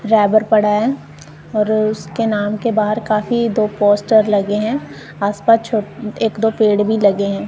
और उसके नाम के बाहर काफी दो पोस्टर लगे हैं आसपास छो एक दो पेड़ भी लगे हैं।